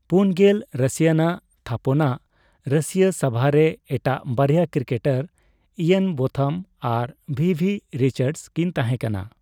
ᱯᱩᱱ ᱜᱮᱞ ᱨᱟᱹᱥᱤᱭᱟᱱᱟᱜ ᱛᱷᱟᱯᱚᱱᱟᱜ ᱨᱟᱹᱥᱤᱭᱟ ᱥᱵᱷᱟ ᱨᱮ ᱮᱴᱟᱜ ᱵᱟᱨᱭᱟ ᱠᱨᱤᱠᱮᱴᱟᱨ ᱤᱭᱟᱱ ᱵᱳᱛᱷᱟᱢ ᱟᱨ ᱵᱷᱤᱵᱷ ᱨᱤᱪᱟᱨᱰᱥ ᱠᱤᱱ ᱛᱟᱦᱮᱸ ᱠᱟᱱᱟ ᱾